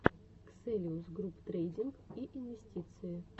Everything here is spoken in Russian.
ксэлиус груп трейдинг и инвестиции